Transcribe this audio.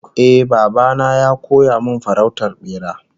Eh, baba na ya koya min farautar bera